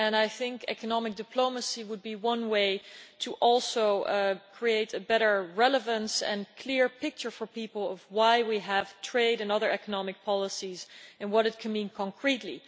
I think economic diplomacy would be one way to also create a better relevance and clear picture for people of why we have trade and other economic policies and what it can mean concretely.